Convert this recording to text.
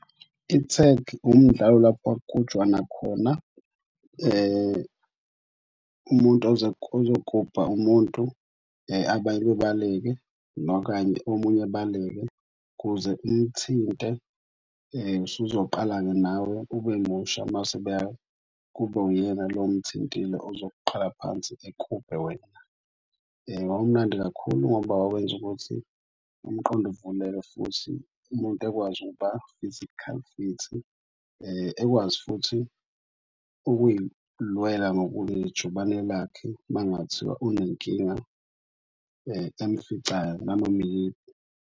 Ithegi umdlalo lapho okuhujwana khona umuntu ozokuhubha umuntu abanye babaleke nokanye, omunye abaleke kuze umthinte. Usuzoqala-ke nawe ubemusha mase kube uyena lo omthintitle ozoqala phansi ekhubhe. Wawumnandi kakhulu, ngoba wawenza ukuthi umqondo uvuleke futhi umuntu ekwazi ukuba physically fit. Ekwazi futhi ukuy'lwela ngoba unejubane lakhe uma ngathiwa unenkinga emficayo nanoma iyiphi.